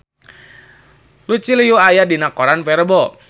Lucy Liu aya dina koran poe Rebo